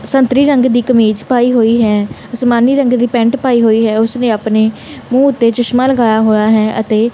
ਸੰਗਤਰੀ ਰੰਗ ਦੀ ਕਮੀਜ਼ ਪਾਈ ਹੋਈ ਹੈ ਅਸਮਾਨੀ ਰੰਗ ਦੀ ਪੈਂਟ ਪਾਈ ਹੋਈ ਹੈ ਉਸ ਨੇ ਆਪਣੇ ਮੂੰਹ ਉੱਤੇ ਚਸ਼ਮਾ ਲਗਾਇਆ ਹੋਇਆ ਹੈ ਅਤੇ --